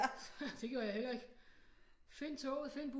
Det gjorde jeg heller ikke find toget find